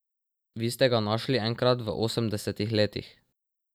Vi ste ga našli enkrat v osemdesetih letih.